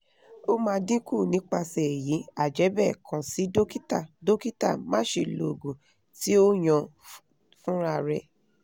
o ma dinku nipase eyi ajebe kan si dokita dokita ma se lo oogun ti oyan funrare